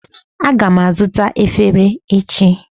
Aga m azụta efere echi